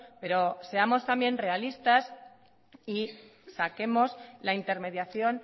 pero seamos también realistas y saquemos la intermediación